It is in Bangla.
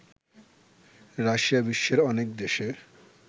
রাশিয়া বিশ্বের অনেক দেশে